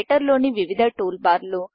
రైటర్లోని వివిధ టూల్బార్లు